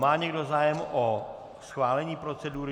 Má někdo zájem o schválení procedury?